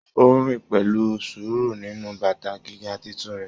O rin pẹlú sùúrù nínú bàtà gíga títún rẹ.